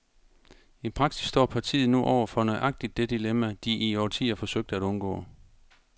I praksis står partiet nu over for nøjagtigt det dilemma, de i årtier forsøgte at undgå.